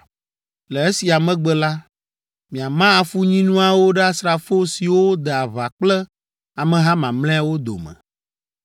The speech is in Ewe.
Le esia megbe la, miama afunyinuawo ɖe asrafo siwo de aʋa kple ameha mamlɛawo dome.